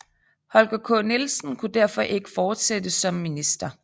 Holger K Nielsen kunne derfor ikke fortsætte som minister